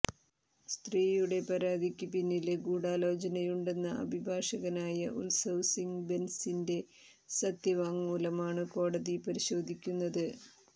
സ്ത്രീയുടെ പരാതിക്ക് പിന്നില് ഗൂഢാലോചനയുണ്ടെന്ന അഭിഭാഷകനായ ഉത്സവ് സിംഗ് ബെന്സിന്റെ സത്യവാങ്മൂലമാണ് കോടതി പരിശോധിക്കുന്നത്